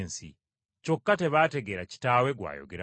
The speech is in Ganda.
Kyokka tebaategeera Kitaawe gw’ayogerako.